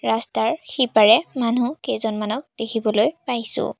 ৰাস্তাৰ সিপাৰে মানুহ কেইজনমানক দেখিবলৈ পাইছোঁ।